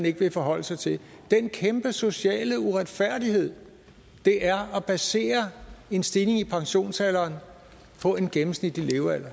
ikke vil forholde sig til den kæmpe sociale uretfærdighed det er at basere en stigning i pensionsalderen på en gennemsnitlig levealder